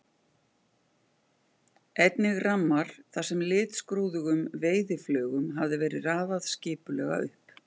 Einnig rammar þar sem litskrúðugum veiðiflugum hafði verið raðað skipulega upp.